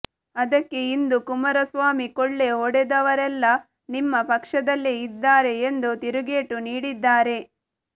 ಅದಕ್ಕೆ ಇಂದು ಕುಮಾರಸ್ವಾಮಿ ಕೊಳ್ಳೆ ಹೊಡೆದವರೆಲ್ಲಾ ನಿಮ್ಮ ಪಕ್ಷದಲ್ಲೇ ಇದ್ದಾರೆ ಎಂದು ತಿರುಗೇಟು ನೀಡಿದ್ದಾರೆ